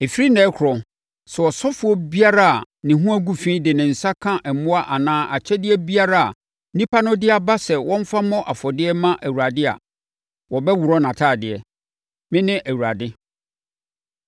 “Ɛfiri ɛnnɛ rekorɔ, sɛ ɔsɔfoɔ biara a ne ho agu fi de ne nsa ka mmoa anaa akyɛdeɛ biara a nnipa no de aba sɛ wɔmfa mmɔ afɔdeɛ mma Awurade a, wɔbɛworɔ nʼatadeɛ. Mene Awurade.